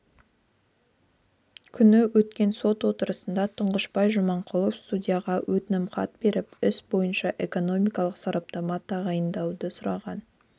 күні өткен сот отырысында тұңғышбай жаманқұлов судьяға өтінімхат беріп іс бойынша экономикалық сараптама тағайындауды сұраған